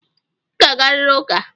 Ị ga-agarịrị ụka!